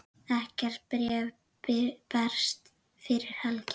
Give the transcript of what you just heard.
Ekkert bréf berst fyrir helgi.